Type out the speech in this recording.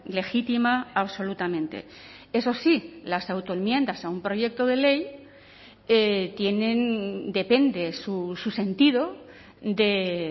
legítima absolutamente eso sí las autoenmiendas a un proyecto de ley tienen depende su sentido de